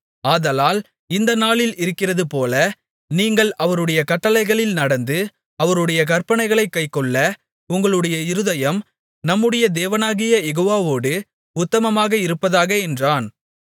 ஆதலால் இந்த நாளில் இருக்கிறதுபோல நீங்கள் அவருடைய கட்டளைகளில் நடந்து அவருடைய கற்பனைகளைக் கைக்கொள்ள உங்களுடைய இருதயம் நம்முடைய தேவனாகிய யெகோவாவோடு உத்தமமாக இருப்பதாக என்றான்